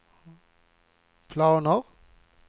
planer